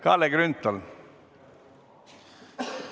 Kalle Grünthal, palun!